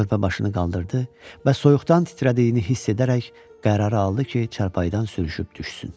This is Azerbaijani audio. Körpə başını qaldırdı və soyuqdan titrədiyini hiss edərək qərarı aldı ki, çarpayıdan sürüşüb düşsün.